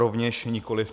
Rovněž nikoli.